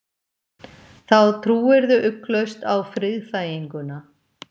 Þá trúirðu ugglaust á friðþæginguna.